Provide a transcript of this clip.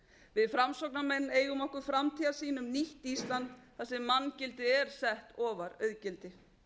við framsóknarmenn eigum okkur framtíðarsýn um nýtt ísland þar sem manngildið er sett ofar auðgildi